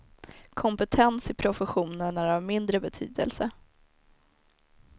Kompetens i professionen är av mindre betydelse.